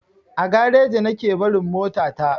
A gareji nake barin mota ta.